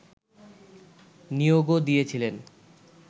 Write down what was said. নিয়োগও দিয়েছিলেন